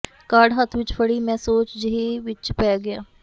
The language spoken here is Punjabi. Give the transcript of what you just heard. ਕਾਰਡ ਹੱਥ ਵਿੱਚ ਫੜੀ ਮੈਂ ਸੋਚ ਜਿਹੀ ਵਿੱਚ ਪੈ ਗਿਆ